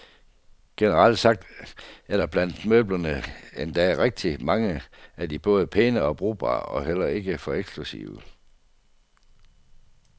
Generelt sagt er der blandt møblerne endda rigtig mange af de både pæne og brugbare og heller ikke for eksklusive.